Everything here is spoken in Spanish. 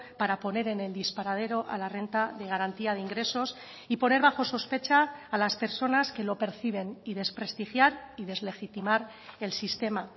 para poner en el disparadero a la renta de garantía de ingresos y poner bajo sospecha a las personas que lo perciben y desprestigiar y deslegitimar el sistema